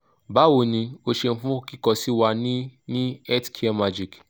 bawo ni o ṣeun fun kikọ si wa ni ni healthcaremagic